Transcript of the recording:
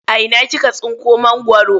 A ina kika tsinko mangwaro?